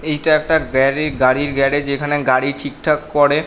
এইটা একটা গাড়ির গ্যারাজ এখানে গাড়ি ঠিকঠাক করে।